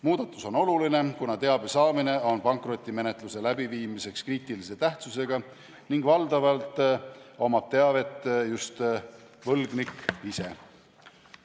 Muudatus on oluline, kuna teabe saamine on pankrotimenetluse läbiviimiseks kriitilise tähtsusega ning valdavalt omab teavet just võlgnik ise.